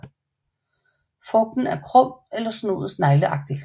Frugten er krum eller snoet snegleagtigt